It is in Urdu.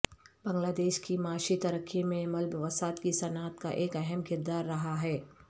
بنگلہ دیش کی معاشی ترقی میں ملبوسات کی صنعت کا ایک اہم کردار رہا ہے